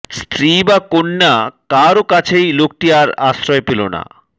স্ত্রী বা কন্যা কারও কাছেই লোকটি আর আশ্রয় পেল না